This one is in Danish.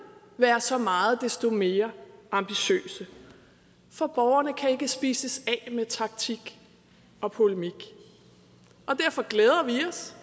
være så meget desto mere ambitiøse for borgerne kan ikke spises af med taktik og polemik og derfor glæder vi os